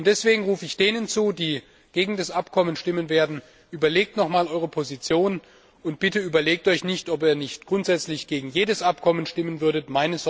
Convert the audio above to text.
Und deswegen rufe ich denen zu, die gegen das Abkommen stimmen werden Überlegt noch einmal eure Position, und bitte überlegt euch, ob ihr nicht grundsätzlich gegen jedes Abkommen stimmen würdet!